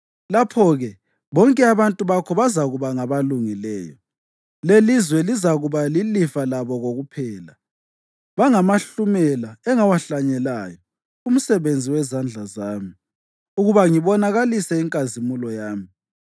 Lapho-ke bonke abantu bakho bazakuba ngabalungileyo, lelizwe lizakuba lilifa labo kokuphela. Bangamahlumela engawahlanyelayo, umsebenzi wezandla zami, ukuba ngibonakalise inkazimulo yami.